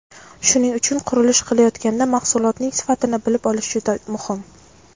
Shuning uchun qurilish qilayotganda mahsulotning sifatini bilib olish juda muhim.